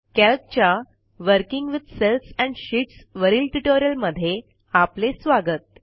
कॅल्कच्या working with cells and sheets वरील ट्युटोरियलमध्ये आपले स्वागत